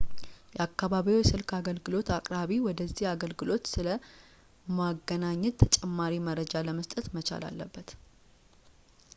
የአከባቢዎ የስልክ አገልግሎት አቅራቢ ወደዚህ አገልግሎት ስለ ማገናኘት ተጨማሪ መረጃ ለመስጠት መቻል አለበት